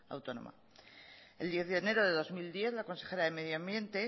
autónoma el diez de enero de dos mil diez la consejera de medio ambiente